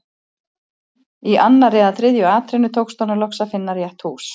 Í annarri eða þriðju atrennu tókst honum loks að finna rétt hús.